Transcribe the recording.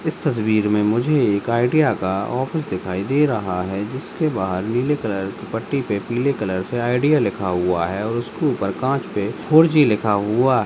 इस तस्वीर में मुझे एक आइडिया का ऑफिस दिखाई दे रहा है जिसके बाहर नीले कलर के पट्टी पे पीले कलर से आइडिया लिखा हुआ है और उसके ऊपर कांच पर फोर जी लिखा हुआ है।